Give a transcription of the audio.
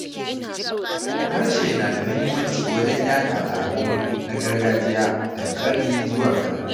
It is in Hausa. Harshe na da muhimmanci wajen yaɗa al’adu na gargajiya daga ƙarni zuwa ƙarni.